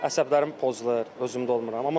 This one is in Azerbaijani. Əsəblərim pozulur, özümdə olmuram.